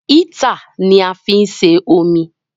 Ítà ni a fí ń se omi